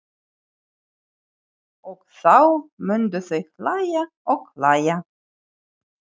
Og þá myndu þau hlæja og hlæja.